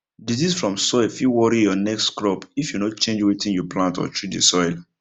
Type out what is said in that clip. disease from soil fit worry your next crop if you no change wetin you plant or treat the soil